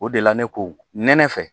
O de la ne ko nɛnɛ fɛ